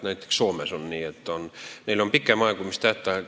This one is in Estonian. Näiteks Soomes on nii, et neil on pikem aegumistähtaeg.